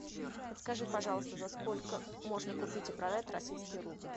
подскажи пожалуйста за сколько можно купить и продать российский рубль